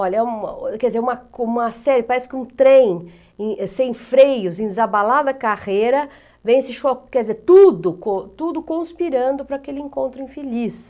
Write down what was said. Olha, uma, quer dzer, uma uma série, parece que um trem sem freios, em desabalada carreira, vem esse choque, quer dizer, tudo cons, tudo conspirando para aquele encontro infeliz.